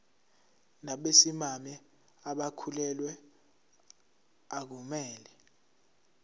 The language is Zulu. nabesimame abakhulelwe akumele